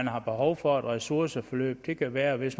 har behov for et ressourceforløb det kan være hvis